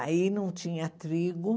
Aí não tinha trigo.